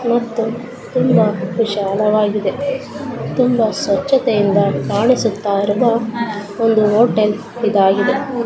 ಮತ್ತು ತುಂಬಾ ವಿಶಾಲವಾಗಿದೆ ತುಂಬಾ ಸ್ವಚ್ಛತೆಯಿಂದ ಕಾಣಿಸುತ್ತಾ ಇರುವ ಒಂದು ಹೋಟೆಲ್ ಇದಾಗಿದೆ.